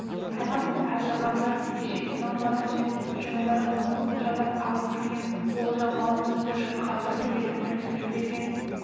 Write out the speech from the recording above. таймас пен әбілғазы кеше иман батыр мен жанайдар қоңырқұлжадан алып келген олжа мал-мүлікті жұртқа бірдей етіп үлестіріп берген